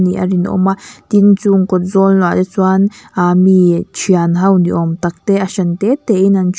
nih a rinawm a tin chung kawt zawl ah te chuan ahh mi thianho ni awm tak te a hran tete in an thu--